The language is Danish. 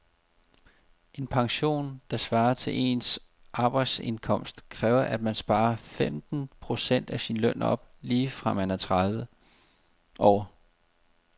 En pension, der svarer til ens arbejdsindkomst, kræver at man sparer femten procent af sin løn op lige fra man er tredive år.